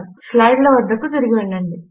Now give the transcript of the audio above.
ఇప్పుడు స్లైడ్ల వద్దకు తిరిగి వెళ్ళండి